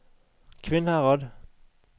Kvinnherad